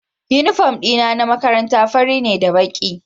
Uniform dina na makaranta fari ne da baki